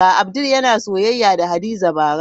Abdul yana soyayya da Hadiza bara.